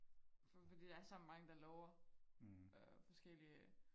fordi der er så mange der lover øh forskellige